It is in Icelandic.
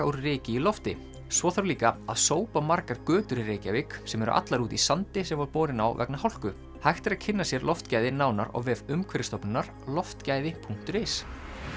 úr ryki í lofti svo þarf líka að sópa margar götur í Reykjavík sem eru allar úti í sandi sem var borinn á vegna hálku hægt er að kynna sér loftgæði nánar á vef Umhverfisstofnunar loftgæði punktur is